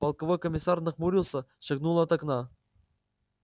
полковой комиссар нахмурился шагнул от окна